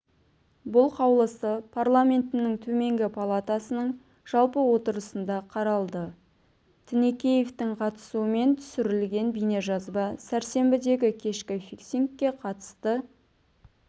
бұл қаулысы парламентінің төменгі палатасының жалпы отырысында қаралды тінікеевтің қатысуымен түсірілген бейнежазба сәрсенбідегі кешкі фиксингке қатысты